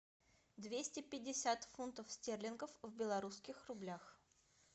двести пятьдесят фунтов стерлингов в белорусских рублях